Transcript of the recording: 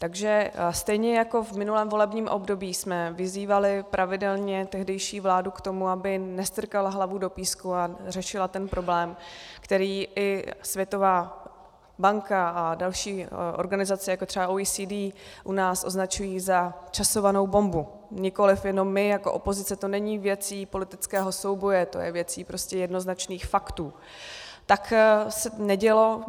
Takže stejně jako v minulém volebním období jsme vyzývali pravidelně tehdejší vládu k tomu, aby nestrkala hlavu do písku a řešila ten problém, který i Světová banka a další organizace, jako třeba OECD, u nás označují za časovanou bombu, nikoliv jenom my jako opozice, to není věcí politického souboje, to je věcí prostě jednoznačných faktů, tak se nedělo.